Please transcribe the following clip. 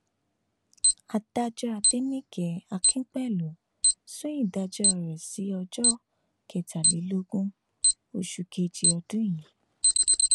adájọ adẹnìke akínpẹlú sún ìdájọ rẹ sí ọjọ kẹtàlélógún oṣù kejì ọdún yìí